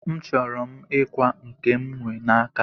M chọrọ m ikwa nke m nwe n'aka